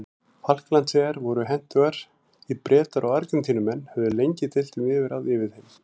Falklandseyjar voru hentugar því Bretar og Argentínumenn höfðu lengi deilt um yfirráð yfir þeim.